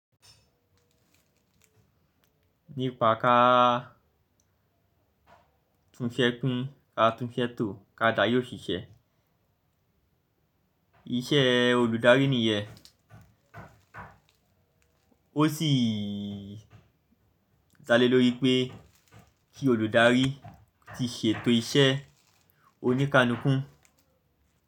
Nípa ká túnsẹ́ kún, ká túnsẹ́ tò, ká dá yóò ṣiṣẹ́. Iṣẹ́ olùdarí nìyẹn. Ó sì dá lé lórí pé kí olùdarí ti ṣètò iṣẹ́ oníkalúkú.